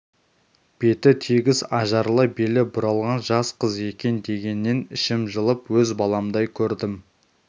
беті тегіс ажарлы белі бұралған жас қыз екен дегеннен ішім жылып өз баламдай көрдім